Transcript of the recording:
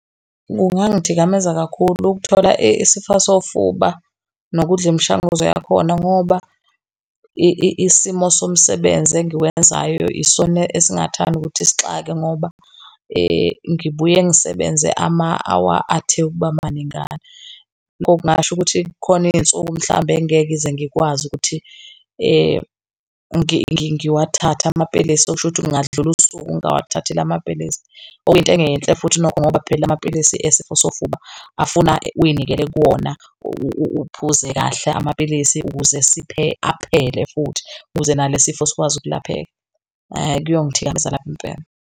Kungangithikameza kakhulu ukuthola isifo sofuba nokudla imishanguzo yakhona ngoba isimo somsebenzi engikwenzayo isona esingathanda ukuthi sixakeke ngoba ngibuye ngisebenze ama-hour athe ukuba maningana. Okungasho ukuthi kukhona iy'nsuku mhlambe engeke ngize ngikwazi ukuthi ngiwathathe amapilisi, okusho ukuthi kungadlula usuku ngingawathathile amapiilisi okuyinto engeyinhle futhi lokho ngoba phela amapilisi esifo sofuba afuna uy'nikele kuwona, uphuze kahle amapilisi ukuze aphele futhi, ukuze nalesi sifo sikwazi ukulapheka. Kuyongithikameza kabi impela.